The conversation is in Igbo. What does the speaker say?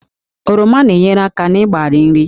Oroma na-enyere aka n'ịgbari nri